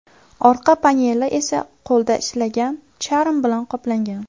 Orqa paneli esa qo‘lda ishlangan charm bilan qoplangan.